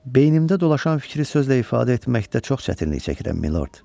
Beynimdə dolaşan fikri sözlə ifadə etməkdə çox çətinlik çəkirəm, Milord.